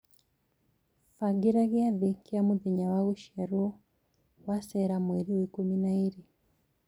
bagĩra giathĩ gia mũthenya wa gũciarwo wa Sarah Mweri wa ikũmi na ĩĩrĩ